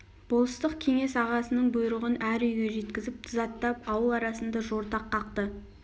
болыстық кеңес ағасының бұйрығын әр үйге жеткізіп тызаттап ауыл арасында жортақ қақты